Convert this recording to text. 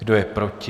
Kdo je proti?